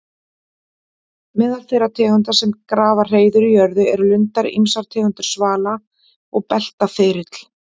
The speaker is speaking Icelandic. Meðal þeirra tegunda sem grafa hreiður í jörðu eru lundar, ýmsar tegundir svala og beltaþyrill.